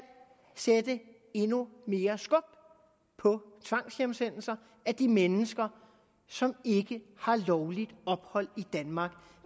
sætte endnu mere skub på tvangshjemsendelser af de mennesker som ikke har lovligt ophold i danmark